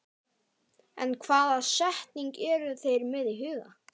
En hvaða staðsetningu eru þeir með í huga?